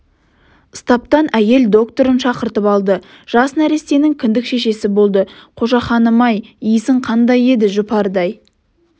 стаптан әйел докторын шақыртып алды жас нәрестенің кіндік-шешесі болды қошақаным-ай иісің қандай еді жұпардай